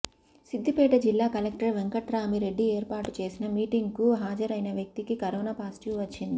సిద్దిపేట జిల్లా కలెక్టర్ వెంకట్రామి రెడ్డి ఏర్పాటు చేసిన మీటింగ్ కు హాజరైన వ్యక్తికి కరోనా పాజిటివ్ వచ్చింది